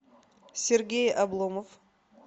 сергей обломов